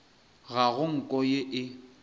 ga go nko ye e